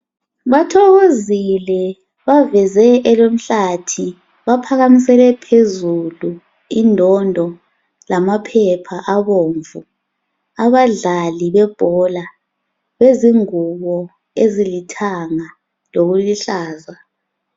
Bathokozile baveze elomhlathi baphakamisele phezulu indondo lamaphepha abomvu abadlali bebhola lezingubo ezilithanga lokuluhlaza.